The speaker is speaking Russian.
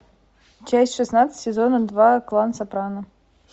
часть шестнадцать сезона два клан сопрано